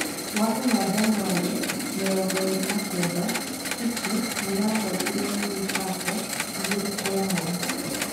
Gwakinya Janyũari 29, City nĩ yahootirwo nĩ Newcaste 2-1.